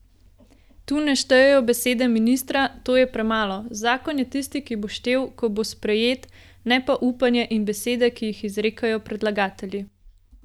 Tu ne štejejo besede ministra, to je premalo, zakon je tisti, ki bo štel, ko bo sprejet, ne pa upanje in besede, ki jih izrekajo predlagatelji.